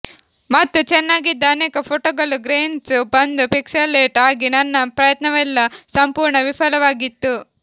ಮತ್ತು ಚೆನ್ನಾಗಿದ್ದ ಅನೇಕ ಫೋಟೊಗಳು ಗ್ರೇನ್ಸ್ ಬಂದು ಪಿಕ್ಸಲೇಟ್ ಆಗಿ ನನ್ನ ಪ್ರಯತ್ನವೆಲ್ಲಾ ಸಂಪೂರ್ಣ ವಿಫಲವಾಗಿತ್ತು